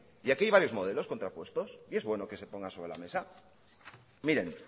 y aquí hay varios modelos contra puestos y es bueno que se pongan sobre la mesa miren